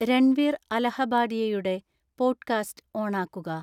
രൺവീർ അലഹബാഡിയയുടെ പോഡ്‌കാസ്റ്റ് ഓണാക്കുക